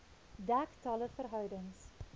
dek talle verhoudings